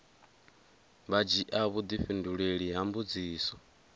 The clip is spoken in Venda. vha dzhia vhudifhinduleli ha mbudziso